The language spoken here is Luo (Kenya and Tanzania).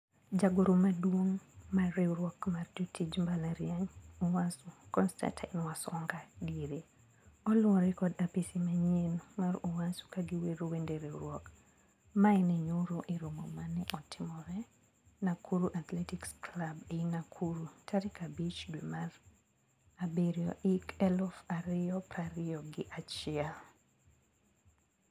Jagoro maduong mar riwruok mar jotij mbalariany (UASU), Constatine Wasonga(diere). Oluore kod apisi manyien mar UASU kagiwero wende riwruok. Mae ne nyoro e romo ma ne otimore Nakuru Athletics Club ei Nakuru tarik abich dwe mar abirio hik eluf ario prario gi achiel.